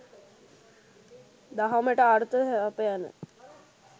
දහමට අර්ථ සපයන